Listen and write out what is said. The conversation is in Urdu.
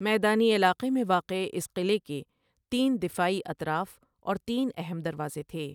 میدانی علاقے میں واقع اس قلعے کے تین دفاعی اطراف اور تین اہم دروازے تھے۔